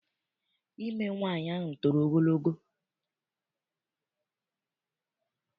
Imi nwaanyị ahụ toro ogologo.